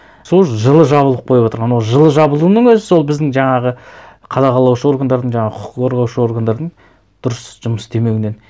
сол жылы жабылып қойып отыр анау жылы жабылуының өзі сол біздің жаңағы қадағалаушы органдардың жаңағы құқық қорғаушы органдардың дұрыс жұмыс істемеуінен